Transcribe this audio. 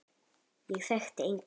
Ég þekkti enga.